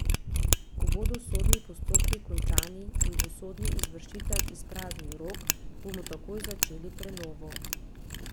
Ko bodo sodni postopki končani in bo sodni izvršitelj izpraznil Rog, bomo takoj začeli prenovo.